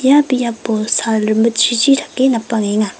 ia biapo sal rimitjrijri dake napangenga.